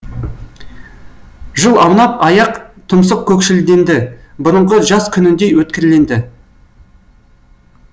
жыл аунап аяқ тұмсық көкшілденді бұрынғы жас күніндей өткірленді